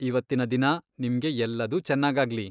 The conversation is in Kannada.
ಇವತ್ತಿನ ದಿನ ನಿಮ್ಗೆ ಎಲ್ಲದೂ ಚೆನ್ನಾಗಾಗ್ಲಿ!